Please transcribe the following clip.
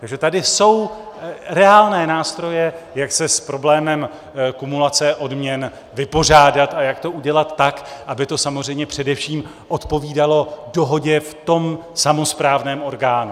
Takže tady jsou reálné nástroje, jak se s problémem kumulace odměn vypořádat a jak to udělat tak, aby to samozřejmě především odpovídalo dohodě v tom samosprávném orgánu.